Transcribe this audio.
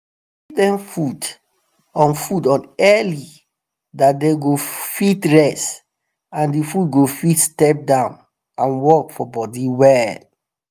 them food on food on early dat them go fit rest and the food go fit step down and work for body well